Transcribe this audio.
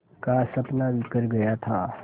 का सपना बिखर गया था